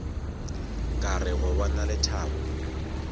ka re go bona lethabo